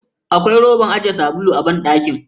Akwai roban ajiye sabulu a banɗakin.